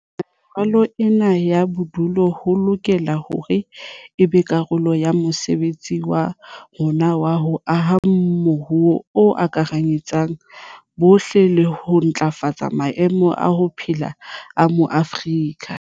Ho lokisa meralo ena ya tsa bodulo ho lokela hore e be karolo ya mosebetsi wa rona wa ho aha moruo o akaretsang bohle le ho ntlafatsa maemo a ho phela a Maafrika.